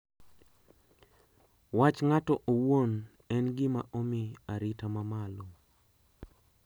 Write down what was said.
Wach ng`ato owuon en gima omi arita ma malo.